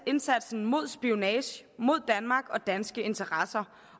indsatsen mod spionage mod danmark og danske interesser